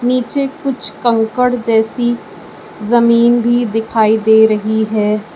नीचे कुछ कंकड़ जैसी जमीन भी दिखाई दे रही है।